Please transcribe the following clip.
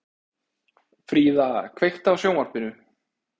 Fríða, kveiktu á sjónvarpinu.